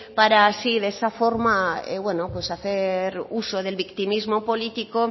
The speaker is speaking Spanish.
para así de esa forma bueno pues hacer uso del victimismo político